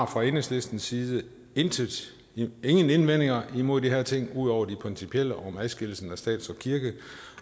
fra enhedslistens side ingen indvendinger imod de her ting ud over de principielle om adskillelsen af stat